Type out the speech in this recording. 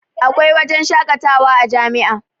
Akwai wajen shakatawa a jami'a